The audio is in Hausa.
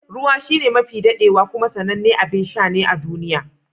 Ruwa shine mafi daɗaɗɗewa kuma sanannen abin sha ne a duniya.